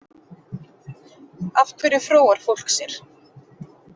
Af hverju fróar fólk sér?